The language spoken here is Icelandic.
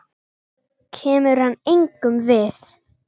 Kemur hann engum við?